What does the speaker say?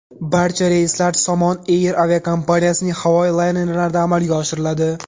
Barcha reyslar Somon Air aviakompaniyasining havo laynerlarida amalga oshiriladi.